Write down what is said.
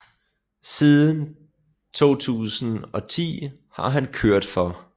Siden 2010 har han kørt for